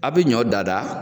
A' bɛ ɲɔn dada.